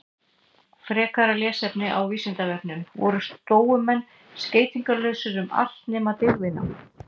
Frekara lesefni á Vísindavefnum: Voru stóumenn skeytingarlausir um allt nema dygðina?